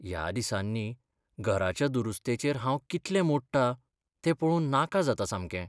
ह्या दिसांनी घराच्या दुरुस्तेचेर हांव कितले मो़डटां तें पळोवन नाका जाता सामकें.